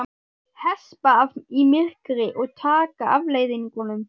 Hespa af í myrkri og taka afleiðingunum.